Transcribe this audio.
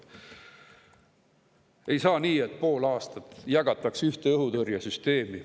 Ei saa nii, et pool aastat jagatakse ühte õhutõrjesüsteemi.